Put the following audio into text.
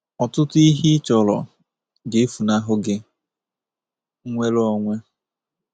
Ọtụtụ ihe ị chọrọ ga-efunahụ gi— nnwere onwe!